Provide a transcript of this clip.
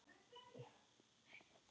En svo bara kom þetta.